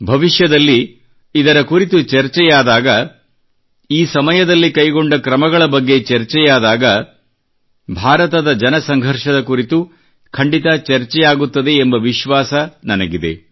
ಭವಿಷ್ಯದಲ್ಲಿ ಇದರ ಕುರಿತು ಚರ್ಚೆಯಾದಾಗ ಈ ಸಮಯದಲ್ಲಿ ಕೈಗೊಂಡ ಕ್ರಮಗಳ ಬಗ್ಗೆ ಚರ್ಚೆಯಾದಾಗ ಭಾರತದ ಜನಸಂಘರ್ಷದ ಕುರಿತು ಖಂಡಿತ ಚರ್ಚೆಯಾಗುತ್ತದೆ ಎಂಬ ವಿಶ್ವಾಸ ನನಗಿದೆ